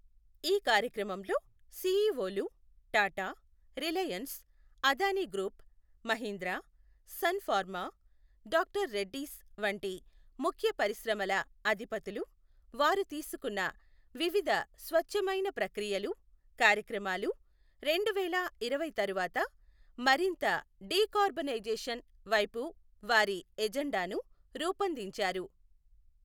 ఈ కార్యక్రమంలో సీఈఓలు, టాటా, రిలయన్స్, అదానీ గ్రూప్, మహీంద్రా, సన్ ఫార్మా, డాక్టర్ రెడ్డీస్ వంటి ముఖ్య పరిశ్రమల అధిపతులు వారు తీసుకున్న వివిధ స్వచ్ఛమైన ప్రక్రియలు కార్యక్రమాలు, రెండువేల ఇరవై తరువాత మరింత డీకార్బోనైజేషన్ వైపు వారి ఎజెండాను రూపొందించారు.